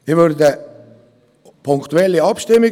Ich verlange eine punktweise Abstimmung.